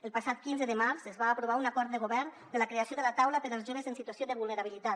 el passat quinze de març es va aprovar un acord de govern de la creació de la taula per als joves en situació de vulnerabilitat